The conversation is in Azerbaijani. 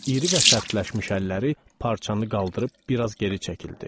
İri və sərtləşmiş əlləri parçanı qaldırıb biraz geri çəkildi.